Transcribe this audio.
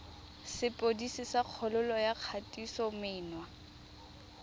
sepodisi sa kgololo ya kgatisomenwa